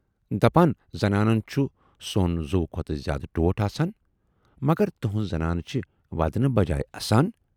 دپان زنانَن چھُ سۅن زُوٕ کھۅتہٕ زیادٕ ٹوٹھ آسان، مگر تُہٕنز زنان چھے ودنہٕ بجایہِ اَسان؟